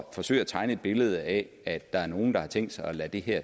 forsøge at tegne et billede af at der er nogen der har tænkt sig at lade